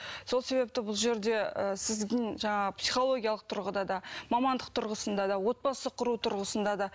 сол себепті бұл жерде ы сіздің жаңағы психологиялық тұрғыда да мамандық тұрғысында да отбасы құру тұрғысында да